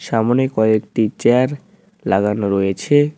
সামোনে কয়েকটি চেয়ার লাগানো রয়েছে।